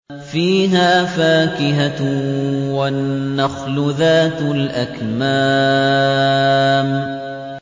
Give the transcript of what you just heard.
فِيهَا فَاكِهَةٌ وَالنَّخْلُ ذَاتُ الْأَكْمَامِ